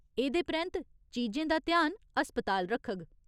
एह्दे परैंत्त, चीजें दा ध्यान अस्पताल रखग।